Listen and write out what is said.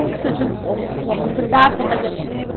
Como que surgiu o uh a oportunidade de você fazer Antígona?